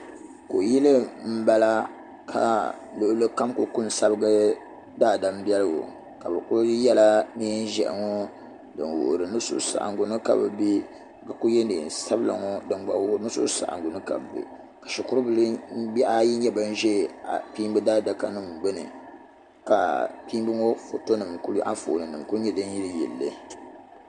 Kuyili m bala ka luɣuli kam kuli ko n sabigi daadambiɛligu ka bɛ kuli yela nɛɛn ʒihi ŋɔ din wuhiri ni suhusaɣingu ni ka bɛ be ka kuli ye nɛɛn sabila din gba wuhiri ni suhusaɣingu ni ka bɛ be shikurubihi ayi ʒe kpiimbi adakanim gbuni ka kpiimbi ŋɔ anfooni nim ku nye din yiliyili li.